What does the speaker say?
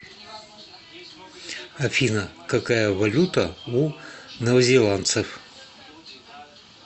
афина какая валюта у новозеландцев